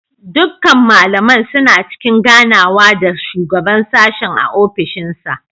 Dukkan malaman suna cikin ganawa da shugaban sashen a ofishinsa.